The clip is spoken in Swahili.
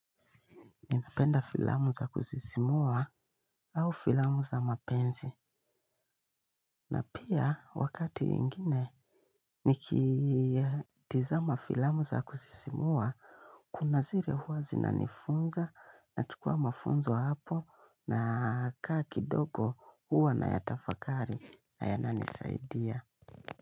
Napenda filamu za kuzisimua au filamu za mapenzi. Na pia wakati mwingine nikitazama filamu za kusisimua, kuna zile huwa zinanifunza, nachukua mafunzo hapo, na nakaa kidogo huwa nayatafakari na yananisaidia.